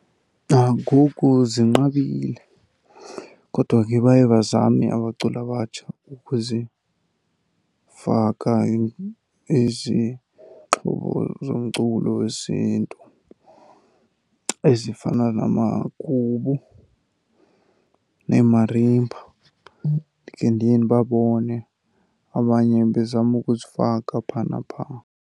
Nangoku zinqabile kodwa ke baye bazame abaculi abatsha ukuzifaka izixhobo zomculo wesiNtu ezifana namagubu neemarimba. Ndikhe ndiye ndibabone abanye bezama ukuzifaka phaa naphaa.